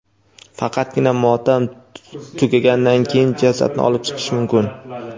Faqatgina motam tugaganidan keyin jasadni olib chiqish mumkin.